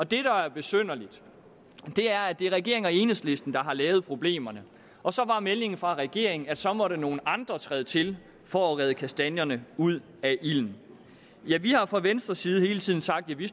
det der er besynderligt er at det er regeringen og enhedslisten der har lavet problemerne og så var meldingen fra regeringen at så måtte nogle andre træde til for at rage kastanjerne ud af ilden vi har fra venstres side hele tiden sagt at vi